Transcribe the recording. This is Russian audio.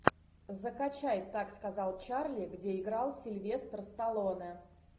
закачай так сказал чарли где играл сильвестр сталлоне